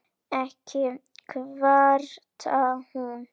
Ekki kvartar hún